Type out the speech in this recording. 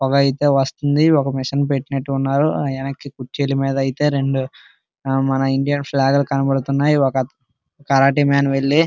పొగ అయితే వస్తుంది. ఒక మిషన్ పెట్టినట్టు ఉన్నారు. ఆయనకి కుర్చీల మీద అయితే రెండు మన ఇండియన్ ఫ్లాగ్ కనబడుతున్నాయి. ఒక కరాటే మాన్ వెళ్లి --